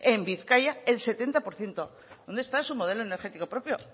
en vizcaya el sesenta por ciento dónde está su modelo energético propio